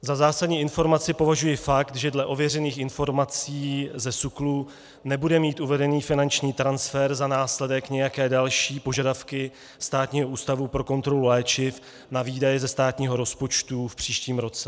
Za zásadní informaci považuji fakt, že dle ověřených informací ze SÚKLu nebude mít uvedený finanční transfer za následek nějaké další požadavky Státního ústavu pro kontrolu léčiv na výdaje ze státního rozpočtu v příštím roce.